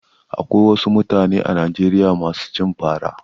Akwai wasu mutane a Najeriya masu cin fara.